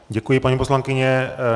Děkuji, paní poslankyně.